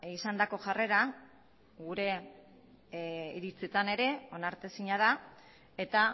izandako jarrera gure iritzitan ere onartezina da eta